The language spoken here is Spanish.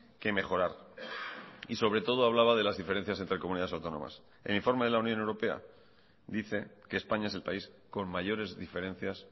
que mejorar y sobre todo hablaba de las diferencias entre comunidades autónomas el informe de la unión europea dice que españa es el país con mayores diferencias